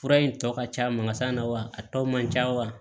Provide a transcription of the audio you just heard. Fura in tɔ ka ca makasa na wa a tɔ man ca wa